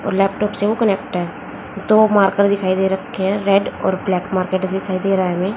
और लैपटॉप से वो कनेक्ट है दो मार्कर दिखाई दे रखे हैं रेड और ब्लैक मार्केट दिखाई दे रहा है हमें।